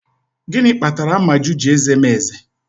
Gịnị kpatara Amaju ji eze m eze?